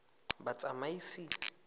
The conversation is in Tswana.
batsamaisi